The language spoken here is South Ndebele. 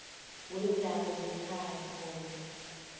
weendaba zekhaya khona